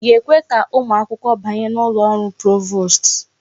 Ị ga-ekwe ka ụmụ akwụkwọ banye n'ụlọ ọrụ provost?